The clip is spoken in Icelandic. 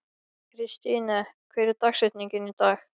Kristine, hver er dagsetningin í dag?